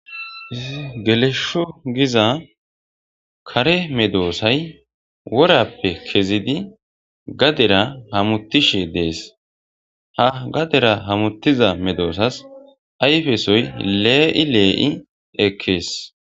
gelesho giza kare medoosay worappe kezidi gadera hamutishe dees ha gadera hamutiza medoosas ayfesoy lee7i lee7i ekkees